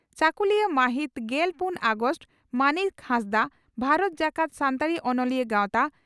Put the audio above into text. ᱪᱟᱹᱠᱩᱞᱤᱭᱟᱹ ᱢᱟᱹᱦᱤᱛ ᱜᱮᱞ ᱯᱩᱱ ᱟᱜᱚᱥᱴ (ᱢᱟᱱᱤᱠ ᱦᱟᱸᱥᱫᱟᱜ) ᱺ ᱵᱷᱟᱨᱚᱛ ᱡᱟᱠᱟᱛ ᱥᱟᱱᱛᱟᱲᱤ ᱚᱱᱚᱞᱤᱭᱟ ᱜᱟᱣᱛᱟ